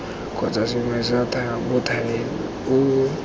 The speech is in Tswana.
kgotsa sengwe sa mothale oo